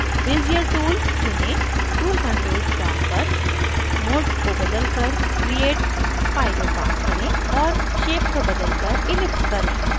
bezier tool चुनें tool controls bar पर